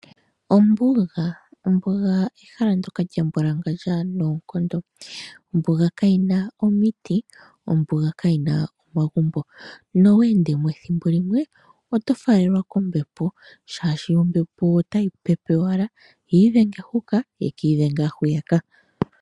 Ombuga, ombuga ehala ndoka lya mbwalangandja noonkondo. Ombuga kayi na omiti, ombuga kayi na omagumbo noowe ende mo ethimbo limwe oto falele a kombepo shaashi ombepo otayi pepe owala yi idhenge huka yeki idhenge hwiya ka.